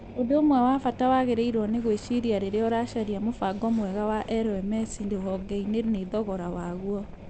Ũndũ ũmwe wa bata wagĩrĩirũo nĩ gwĩciria rĩrĩa ũracaria mũbango mwega wa LMS rũhonge-inĩ nĩ thogora waguo.